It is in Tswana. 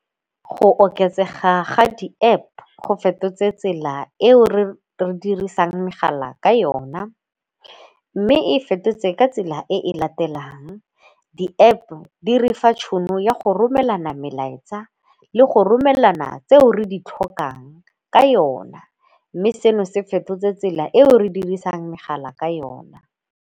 Go oketsega ga di-App go fetotse tsela eo re dirisang megala ka yona mme e e fetotse ka tsela e latelang di-App-o di re fa tšhono ya go romela melaetsa le go romela nna tse o re di tlhokang ka yona mme seno se fetotse tsela e o re dirisang megala ka yona.